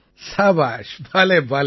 சபாஷ் பலே பலே